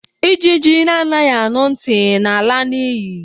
Ijiji na anaghị anu ntị na ala na iyi.